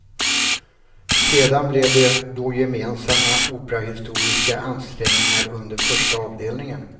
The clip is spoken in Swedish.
Sedan blev det då gemensamma operahistoriska ansträngningar under första avdelningen.